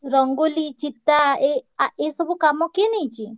ରଙ୍ଗୋଲୀ ଚିତା ଏ ଏ ଆ ଏ ସବୁ କାମ କିଏ ନେଇଚି?